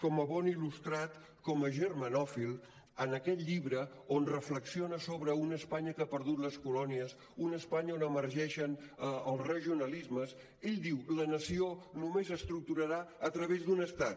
com a bon il·lustrat com a germanòfil en aquest llibre on reflexiona sobre una espanya que ha perdut les colònies una espanya on emergeixen els regionalismes ell diu la nació només s’estructurarà a través d’un estat